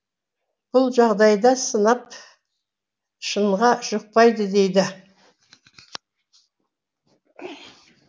бұл жағдайда сынап шыныға жұқпайды дейді